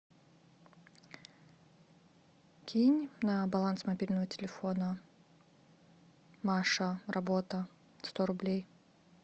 кинь на баланс мобильного телефона маша работа сто рублей